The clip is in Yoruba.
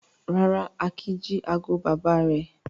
Rárá, Akin jí ago bàbá rẹ̀.